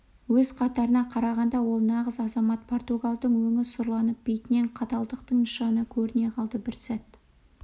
өз қатарына қарағанда ол нағыз азамат португалдың өңі сұрланып бетінен қаталдықтың нышаны көріне қалды бір сәт